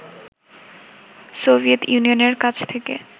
Soviet ইউনিয়নের কাছ থেকে